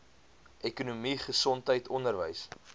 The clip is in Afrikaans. ekonomie gesondheid onderwys